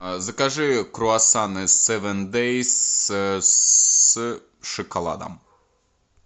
закажи круассаны севен дэйс с шоколадом